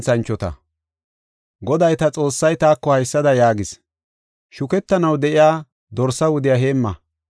Goday ta Xoossay taako haysada yaagis: “Shukettanaw de7iya dorsa wudiya heemma.